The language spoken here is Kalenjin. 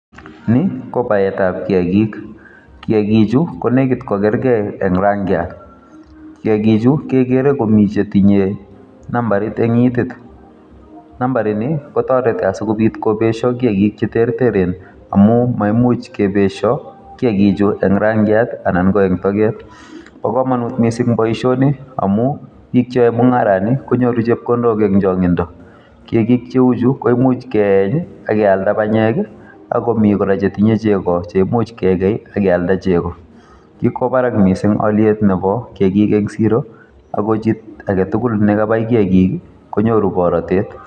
Ni ko baetab kiyagik. Kiyagik chu, ko nekit ko kergei eng' rangiat. Kiyagik chu, kegere komiii che tinye nambarit eng' itit. Nambarit nii kotoreti asikobit kobeshio kiyagik che ter teren amu maimuch kebeshio kiyagik chu eng' rangiat anan ko eng' teget. Bo komonut missing boisoni amu, biik che ae mungarat nii konyoru chepkondok eng' changindo. Kiyagik cheu chu, ko imuch ke eny akealda panyek, akomii kora che tinye chego che imuch kekei, akealda chego. Kikwo barak missing aliet nebo kiyagik eng' siro, ago chito age tugul nekabai kiyagik, konyoru borotet